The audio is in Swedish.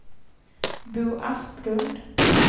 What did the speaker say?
Bo Asplund